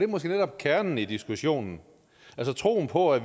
måske netop kernen i diskussionen altså troen på at